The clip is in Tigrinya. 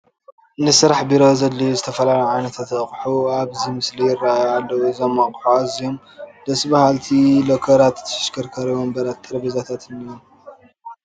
ንስራሕ ቢሮ ዘድልዩ ዝተፈላለዩ ዓይነት ኣቑሑ ኣብዚ ምስሊ ይርአዩ ኣለዉ፡፡ እዞም ኣቑሑ ኣዝዮም ደስ በሃልቲ ሎከራትን፣ ተሽከርካሪ ወንበራትን ጠረጴዛታትን እዮም፡፡